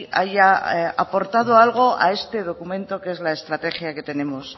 haya aportado algo a este documento que es la estrategia que tenemos